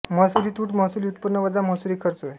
महसुली तुट महसुली उत्पन्न वजा महसुली खर्च होय